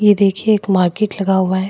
ये देखिए एक मार्केट लगा हुआ है।